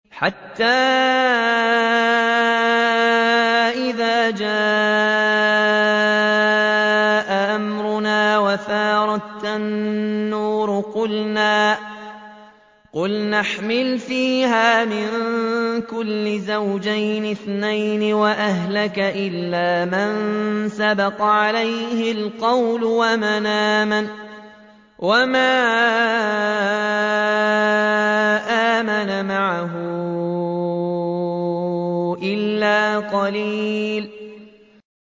حَتَّىٰ إِذَا جَاءَ أَمْرُنَا وَفَارَ التَّنُّورُ قُلْنَا احْمِلْ فِيهَا مِن كُلٍّ زَوْجَيْنِ اثْنَيْنِ وَأَهْلَكَ إِلَّا مَن سَبَقَ عَلَيْهِ الْقَوْلُ وَمَنْ آمَنَ ۚ وَمَا آمَنَ مَعَهُ إِلَّا قَلِيلٌ